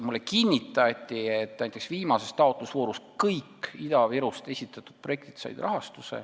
Mulle kinnitati, et näiteks viimases taotlusvoorus said rahastuse kõik Ida-Virust esitatud projektid.